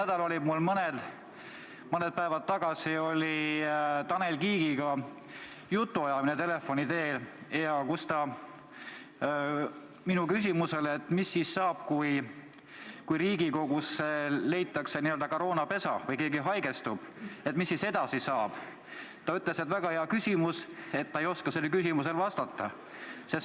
Eelmisel nädalal, mõned päevad tagasi oli mul telefoni teel jutuajamine Tanel Kiigega, kes vastas minu küsimusele selle kohta, mis siis saab, kui Riigikogus leitakse n-ö koroonapesa või keegi haigestub, et väga hea küsimus, aga ütles ka, et ei oska sellele vastata.